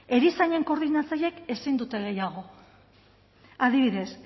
erizainen koordinatzaileek ezin dute gehiago adibidez